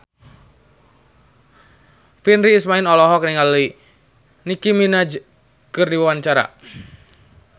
Virnie Ismail olohok ningali Nicky Minaj keur diwawancara